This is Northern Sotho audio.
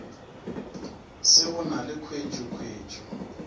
se go na le khuetšokhuetšo